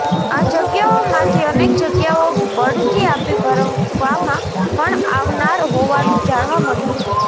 આ જગ્યાઓમાંથી અનેક જગ્યાઓ બઢતી આપી ભરવામાં પણ આવનાર હોવાનું જાણવા મળ્યું છે